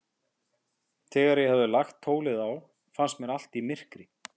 Þegar ég hafði lagt tólið á, fannst mér allt í myrkri.